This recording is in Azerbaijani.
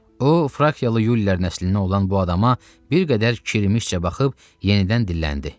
O frakiyalı yulilər nəslindən olan bu adama bir qədər kirimişcə baxıb yenidən dilləndi.